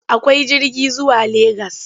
Akwai jirgi zuwa Legas?